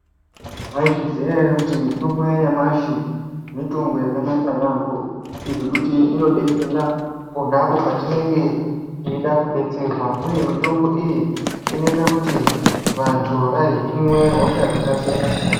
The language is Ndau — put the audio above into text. Maizviziya ere kuti mitombo yanyamashi mitombo yakanaka yaamho. Ngekuti inobetsera ponapo patinenge teida kubetserwa, uye mitombo iyi inoita kuti vantu vahinwe hosha dzakasiyana-siyana.